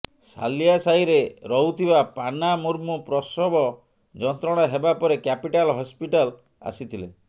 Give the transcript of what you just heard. ସାଲିଆ ସାହିରେ ରହୁଥିବା ପାନା ମୁର୍ମୁ ପ୍ରସବ ଯନ୍ତ୍ରଣା ହେବା ପରେ କ୍ୟାପିଟାଲ ହସ୍ପିଟାଲ ଆସିଥିଲେ